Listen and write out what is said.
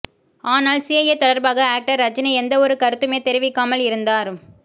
ஆனால் சிஏஏ தொடர்பாக ஆக்டர் ரஜினி எந்தவொரு கருத்துமே தெரிவிக்காமல் இருந்தார்